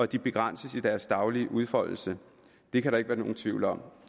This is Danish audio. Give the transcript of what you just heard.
de begrænses i deres daglige udfoldelse det kan der ikke være nogen tvivl om